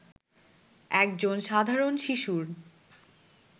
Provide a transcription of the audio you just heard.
একজন সাধারণ শিশুর